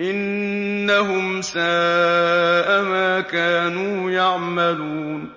إِنَّهُمْ سَاءَ مَا كَانُوا يَعْمَلُونَ